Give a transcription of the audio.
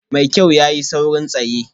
Mai kyau, ya yi saurin tsaye